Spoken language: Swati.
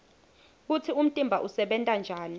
kutsi umtimba usebenta njani